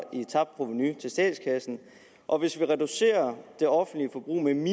i tabt provenu til statskassen og hvis vi reducerer det offentlige forbrug med en